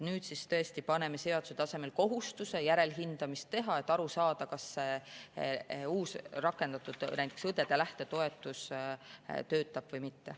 Nüüd siis tõesti paneme seaduse tasemel kohustuse järelhindamist teha, et aru saada, kas näiteks see uus, rakendatud õdede lähtetoetus töötab või mitte.